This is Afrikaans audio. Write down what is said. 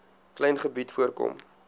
klein gebied voorkom